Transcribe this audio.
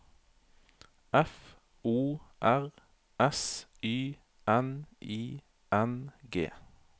F O R S Y N I N G